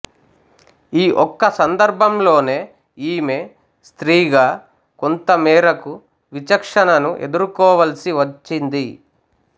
ఈ ఒక్క సందర్భంలోనే ఈమె స్త్రీగా కొంతమేరకు విచక్షణను ఎదుర్కోవలసి వచ్చింది